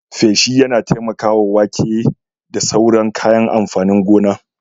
Feshi yana taimakawa wake da sauran kayan amfanin gona.